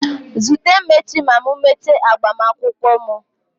Zute m echi ma m mechaa agbamakwụkwọ m.